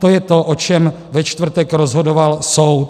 To je to, o čem ve čtvrtek rozhodoval soud.